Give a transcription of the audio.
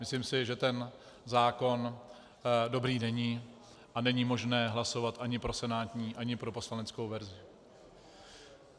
Myslím si, že ten zákon dobrý není a není možné hlasovat ani pro senátní ani pro poslaneckou verzi.